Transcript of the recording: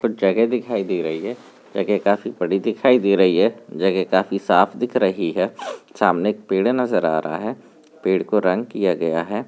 कोई जगह दिखाई दे रही है जगे काफी बड़ी दिखाई दे रही है जगे काफी साफ दिख रही है सामने एक पेड़ नजर आ रहा है पेड़ को रंग किया गया है।